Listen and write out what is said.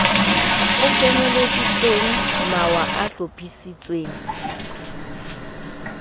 o kenyeleditseng mawa a hlophisitsweng